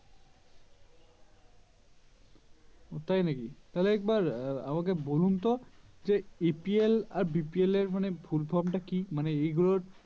ও তাই নাকি তাহলে একবার বলুন তো যে APL আর BPL এর মানে Full From টা কি মানে এগুলোর